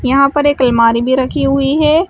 यहां पर एक अलमारी भी रखी हुई है।